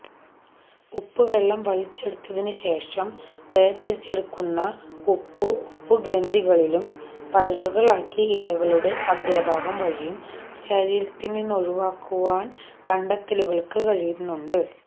ഉപ്പുവെള്ളം വലിച്ചെടുത്തതിനുശേഷം വേര്തിരിച്ചെടുക്കുന്ന ഉപ്പ് ഉപ്പുഗ്രന്ഥികളിലും പരലുകളാക്കി ഇലകളുടെ അഗ്രഭാഗം വഴിയും ശരീരത്തില്നിന്നൊഴിവാക്കുവാന് കണ്ടലുകള്ക്ക് കഴിയുന്നുണ്ട്